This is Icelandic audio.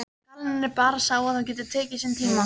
Gallinn er bara sá að það getur tekið sinn tíma.